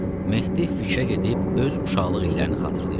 Mehdi fikrə gedib öz uşaqlıq illərini xatırlayırdı.